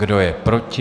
Kdo je proti?